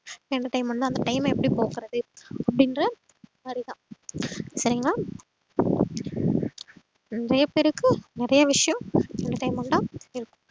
entertainment ல அந்த time ம எப்டி போக்குறது அப்டின்ற மாறிதான் சரிங்களா நறைய பேருக்கு நறைய விஷயம் entertainment அஹ் இருக்கும்